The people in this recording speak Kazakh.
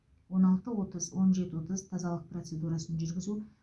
он алты отыз он жеті отыз тазалық процедурасын жүргізу